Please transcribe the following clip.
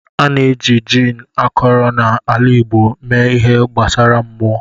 A na-eji gin akọrọ na ala igbo mee ihe gbasara mmụọ.